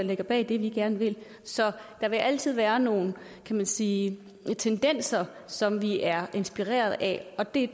ligger bag det vi gerne vil så der vil altid være nogle kan man sige tendenser som vi er inspireret af det